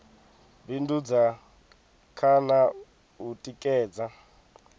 bindudza kha na u tikedza